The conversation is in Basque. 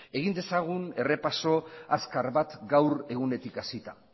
egin dezagun errepaso azkar bat gaur egunetik hasita